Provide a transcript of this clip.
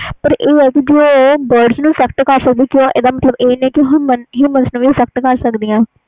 ਪਰ ਇਹ ਆ ਕਿ ਜੇ ਉਹ bridge ਨੂੰ effact ਕਰ ਸਕਦੀਆਂ ਉਹ ਨੂੰ human ਵੀ effact ਕਰ ਸਕਦੀਆਂ ਆ